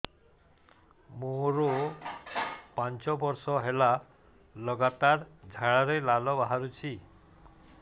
ମୋରୋ ପାଞ୍ଚ ବର୍ଷ ହେଲା ଲଗାତାର ଝାଡ଼ାରେ ଲାଳ ବାହାରୁଚି